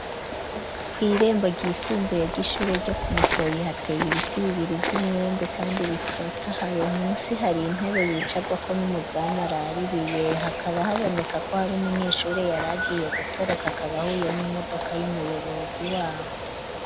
Kw' irembo ryisumbuye ry'ishure ryo kumutoyi hateye ibiti bibiri vy'umwembe, kandi bitotahaye munsi hari intebe yicagwako n'umuzamu araririye, hakaba haboneka ko hari umunyeshuri yaragiye gutoroka akaba ahuye n'imodoka y'umuyobozi wabo.